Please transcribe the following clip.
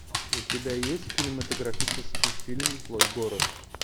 у тебя есть кинематографический фильм злой город